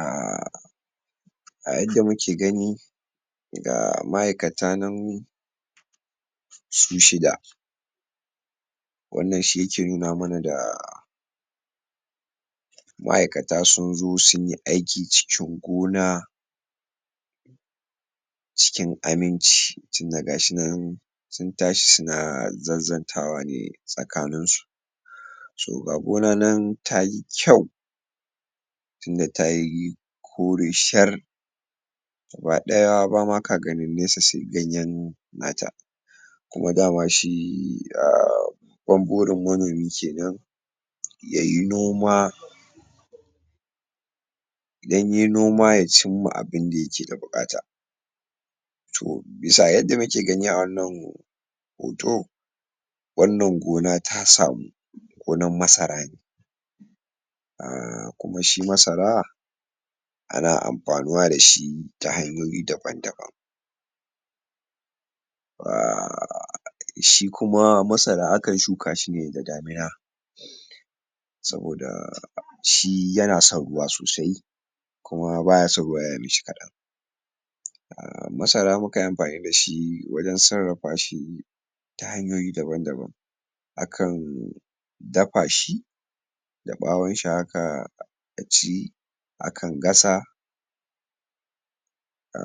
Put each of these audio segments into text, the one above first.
um a yad muke gani ga ma aikata nan su shida wannan shi yake nuna mana da maikata sunzo sunyi aiki cikin gona ciki aminci tinda gashinan sun tashi suna zanzan tawane tsakaninsu so ga gonanan tayi kyau tinda tayi kore shar gaba ɗaya bama ka ganin nesa se gayan nata kuma dama shi um babban burin manomi kenan yayi noma idan yai noma yacinma a bunda yake da buƙata tto bisa yadda muke gani a wannan hoto wannan gona tasamu gonan masara ne a kuma shi masara ana amfanuwa dashi ta hanyoyi daban daban ba shi kuma masara akan shukashine da damuna saboda shi yana son ruwa sosai kuma baya son ruwa yai mishi kaɗan a masara mukanyi amfani dashi wajan sarrafa shi ta hanyoyi daban daban akan dafashi da ɓawonshi haka a ci akan gasa a: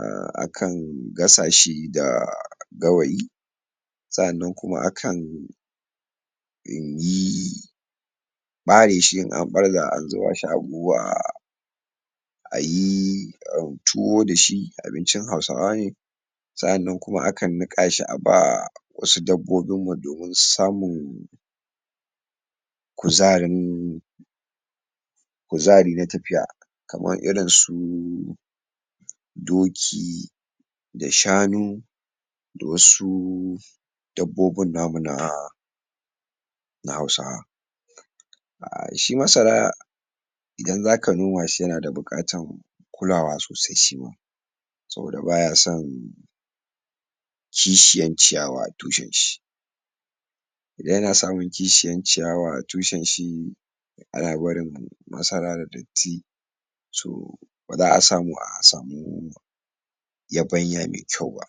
akan gasashi da gawayi sannan kuma akan yi ɓareshi in an barza an zubashi a buhu ayi au tuwo dashi abincin hausawa ne sannan kuma akan niƙashi aba wasu dabbobinmu domin susamu kuzarin kuzari na tafiya kaman irinsu doki da shanu da wasu dabbobin namu na na hausawa a shi masara idan zaka nomashi yana da buƙatan kulawa sosai shima saboda baya san ki shiyan ciyawa a tushen shi idan yana samun kishiyan ciyawa a tushenshi ana barin masara da dadatti sau baza asamu asamu yabanya me kyau ba